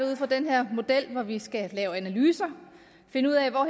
ud fra den her model hvor vi skal lave analyser finde ud af hvor